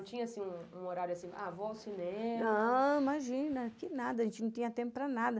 Porque não tinha um horário assim... Ah, vou ao cinema... Não, imagina, que nada, a gente não tinha tempo para nada.